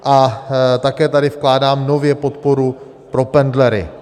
A také tady vkládám nově podporu pro pendlery.